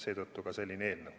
Seetõttu ka selline eelnõu.